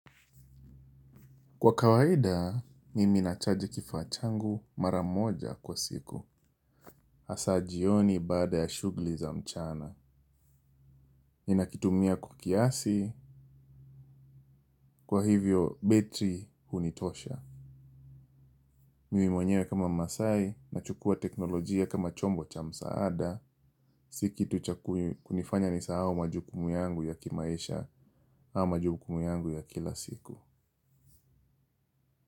Kwa kawaida, nimi nachaji kifaa changu maramoja kwa siku. Asa jioni baada ya shughli za mchana. Nina kitumia kwa kiasi, kwa hivyo betri hunitosha. Mimi mwenyewe kama mmasai nachukua teknolojia kama chombo cha msaada. Si kitu cha kunifanya nisahau majukumu yangu ya kimaisha au majukumu yangu ya kila siku.